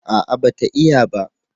A'a ba ta iya ba